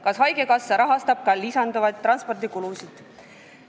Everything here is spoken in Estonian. Kas haigekassa rahastab ka lisanduvaid transpordikulusid?